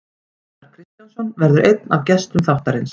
Gunnar Kristjánsson verður einn af gestum þáttarins.